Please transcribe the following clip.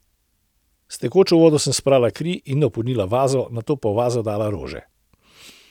S tekočo vodo sem sprala kri in napolnila vazo, nato pa v vazo dala rože.